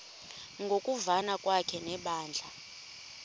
ngokuvana kwakhe nebandla